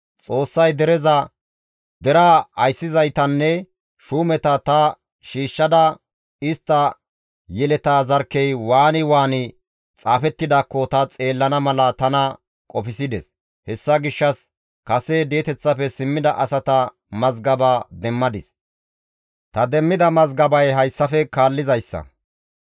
Xoossay dereza, deraa ayssizaytanne shuumeta ta shiishshada istta yeleta zarkkey waani waani xaafettidaakko ta xeellana mala tana qofsides; hessa gishshas kase di7eteththafe simmida asata mazgaba demmadis; ta demmida mazgabay hayssafe kaallizayssa;